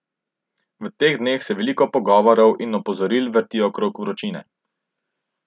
V teh dneh se veliko pogovorov in opozoril vrti okrog vročine.